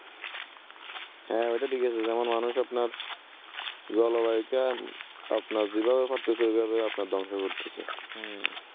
হ্যা অইটা ঠিকাছে যেমন মানুষ আপনার জল্বায়ুকে আপনার যেভাবে পারতেছে আপনার অইভাবে করে ধংশ করতেসে । উম